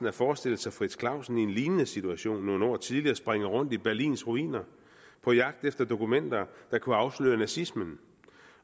at forestille sig frits clausen i en lignende situation nogle år tidligere springe rundt i berlins ruiner på jagt efter dokumenter der kunne afsløre nazismen